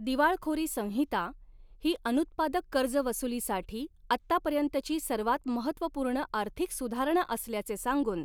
दिवाळखोरी संहिता ही, अनुत्पादक कर्ज वसुलीसाठी आत्तापर्यंतची सर्वात महत्वपूर्ण आर्थिक सुधारणा असल्याचे सांगून,